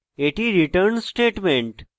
এটি return statement